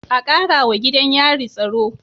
A Karawa gidan yari tsaro